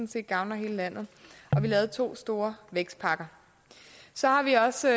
set gavner hele landet og vi lavede to store vækstpakker så har vi også